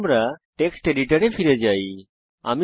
আমাদের টেক্সট এডিটরে ফিরে যাওয়া যাক